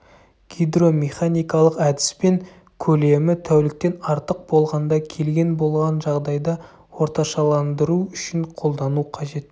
гидромеханикалық әдіспен көлемі тәуліктен артық болғанда келген болған жағдайда орташаландыру үшін қолдану қажет